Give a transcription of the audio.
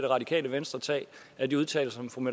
radikale venstre tage af de udtalelser som